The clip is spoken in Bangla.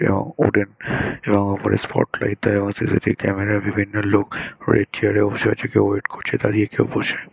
এবং এবংওপরে স্পটলাইট - এ এবং সিসি. টি. ভি ক্যামেরা -য় বিভিন্ন লোক রয়েছে | কেউ চেয়ার -এ বসে আছে | কেউ ওয়েট করছে দাড়িয়ে | কেউ বসে--